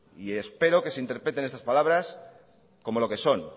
y espero que se interpreten estas palabras como lo que son